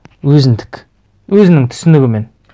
өзіндік өзінің түсінігімен